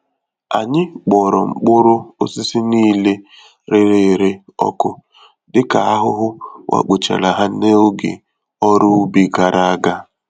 Anyị kpọrọ mkpụrụ osisi niile rere ure ọkụ, dịka ahụhụ wakpochara ha n'oge ọrụ ubi gàrà ágá